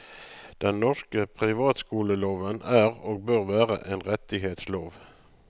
Den norske privatskoleloven er og bør være en rettighets lov.